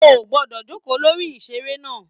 O o gbọdọ jókòó lórí iṣere náà!